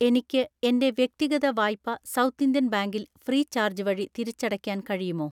എനിക്ക് എൻ്റെ വ്യക്തിഗത വായ്പ സൗത്ത് ഇന്ത്യൻ ബാങ്കിൽ ഫ്രീചാർജ് വഴി തിരിച്ചടയ്ക്കാൻ കഴിയുമോ?